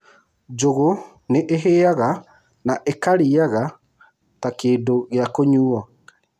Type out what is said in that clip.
Njũgũ nĩ ĩhĩaga na ĩkarĩaga ta kĩndũ gĩa kũnyuuo.